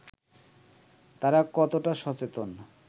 তারা কতটা সচেতন